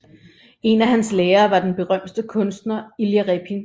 En af hans lærere var den berømte kunstner Ilja Repin